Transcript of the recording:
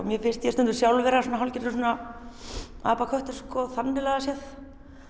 mér finnst ég stundum sjálf hálfgerður svona þannig lagað séð